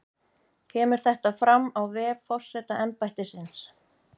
Kemur þetta fram á vef forsetaembættisins